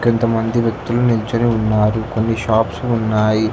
కొంతమంది వ్యక్తులు నించొని ఉన్నారు కొన్ని షాప్స్ ఉన్నాయి